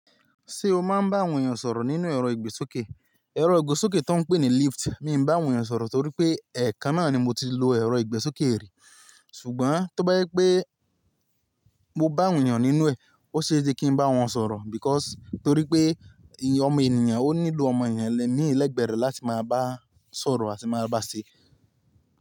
Ṣé o máa ń bá àwọn ènìyàn sọ̀rọ̀ nínú ẹ̀rọ ìgbésókè? Ẹ̀rọ ìgbésókè tó ń pè ní lift, mi ò bá àwọn ènìyàn sọ̀rọ̀ torí pé, ẹ̀ka náà ni mo ti lè lo ẹ̀rọ ìgbésókè rí. Ṣùgbọ́n tó bá yẹ pé mo bá àwon èyàn nínú ẹ̀, ó ṣe sé kí n bá wọn sọ̀rọ̀ because torí pé ọmọ ènìyàn ó nílò ọmọ ènìyàn ními lẹ́gbẹ̀ẹ́ rẹ̀ láti máa bá a sọ̀rọ̀ àti máa bá a ṣe.